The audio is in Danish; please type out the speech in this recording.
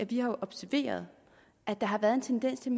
vi har observeret at der har været en tendens til